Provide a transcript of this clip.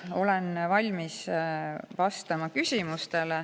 Olen valmis vastama küsimustele.